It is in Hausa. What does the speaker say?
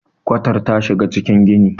kwatar ta shiga cikin gini